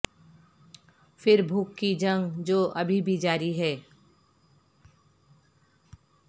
پھر بھوک کی جنگ جو ابھی بھی جاری ہے